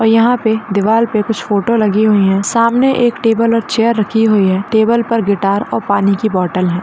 और यहां पर दीवार पर कुछ फोटो लगी हुई है सामने एक टेबल और चेयर रखी हुई है टेबल पर गिटार और पानी की बोटल है।